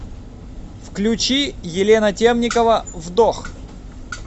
включи елена темникова вдох